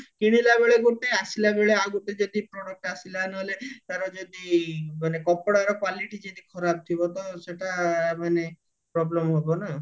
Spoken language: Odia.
କିଣିଲା ବେଳେ ଗୋଟେ ଆସିଲା ବେଳେ ଆଉ ଗୋଟେ ଯଦି product ଆସିଲା ନହେଲେ ତାର ଯଦି ମାନେ କପଡାର quality ଯଦି ଖରାପ ଥିବା ତ ସେଟା ମାନେ problem ହବ ନା